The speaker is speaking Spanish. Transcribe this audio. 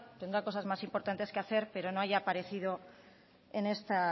tendrá cosas más importantes que hacer pero no haya aparecido en este